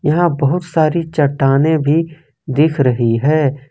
यहां बहुत सारी चट्टानें भी दिख रही है।